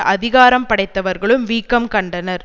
அதிகாரம் படைத்தவர்களும் வீக்கம் கண்டனர்